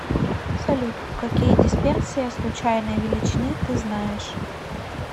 салют какие дисперсия случайной величины ты знаешь